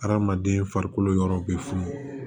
Adamaden farikolo yɔrɔw bɛ funu